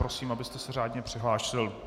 Prosím, abyste se řádně přihlásil.